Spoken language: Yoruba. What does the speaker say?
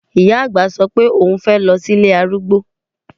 Ìyá àgbà sọ pé oùn fẹ́ lọ sí ilé arúgbó